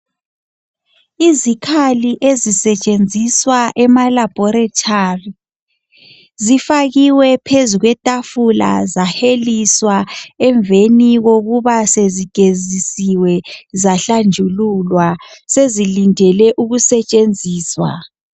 Izikhali ezisetshenziswa emalabhoritari ,zifakiwe phezu kwethafula zaheliswa .Emveni kokuba sezigezisiwe zahlanjululwa ,sezilindele ukusetshenziswa.